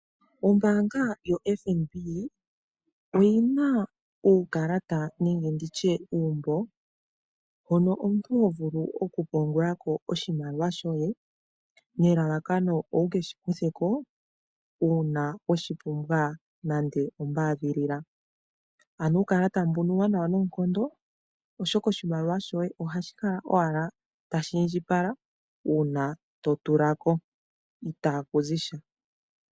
Ombaanga yoFNB oyina uukalata nenge nditya uumbo hoka omuntu hovulu okupungula ko hopungula oshimaliwa shoye nelalakano wukeshikuthe ko una weshipumbwa nande ombadhilila. Uukalata mbuka uwanawa noonkondo oshoka oshimaliwa shoye ohashi kala owala tashi indjipala una totula ko ita ku zi sha.